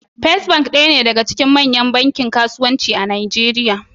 First bank daya ne daga cikin manyan bankunan kasuwanci a Najeriya.